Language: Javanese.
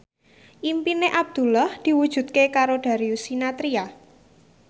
impine Abdullah diwujudke karo Darius Sinathrya